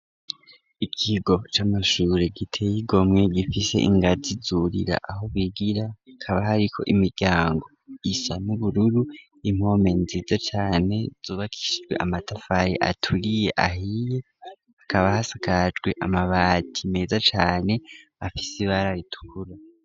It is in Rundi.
Ikigo c'amashure gitey igomwe gifise ingazi zurira aho bigira akaba hariko imiryango isa n'ubururu impome nziza cane zubakishijwe amatafayi aturiye ahiye akaba hasikajwe amabati meza cane afise ibara ritukura.